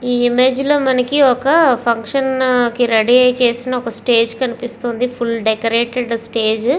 ఇ అమోజే లొ మనకు ఒక ఫంక్షన్ కి రెడీ అయ్యి చేసిన ఒక స్టేజి కనిపిస్తుంది ఫుల్ డెకొరేటెడ్ చేసిన స్టేజి .